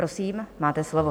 Prosím, máte slovo.